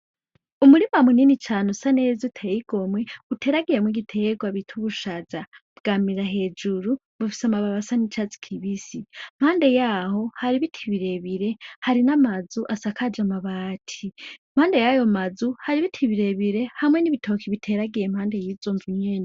Umurima munini cane usa neza uteye igomwe uteragiyemwo igitegwa bita ubushaza bwamira hejuru bufise amababi asa nicatsi kibisi impande yaho hari ibiti birebire harimwo amazu asakaje amabati impande yayo mazu hari ibiti birebire hamwe n’ibitoki biteragiye impande yizo nzu nyene.